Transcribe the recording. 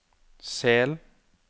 Sel